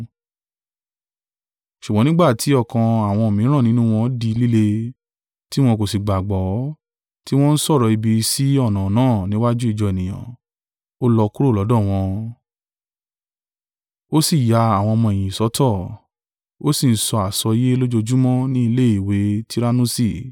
Ṣùgbọ́n nígbà tí ọkàn àwọn mìíràn nínú wọn di líle, tí wọn kò sì gbàgbọ́, tí wọn ń sọ̀rọ̀ ibi sí ọ̀nà náà níwájú ìjọ ènìyàn, ó lọ kúrò lọ́dọ̀ wọn, ó sì ya àwọn ọmọ-ẹ̀yìn sọ́tọ̀, ó sì ń sọ àsọyé lójoojúmọ́ ni ilé ìwé Tirannusi.